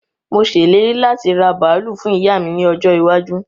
Mo ṣe ìlérí láti raa bàálù fún ìyá mi ní ọjọ́ iwájú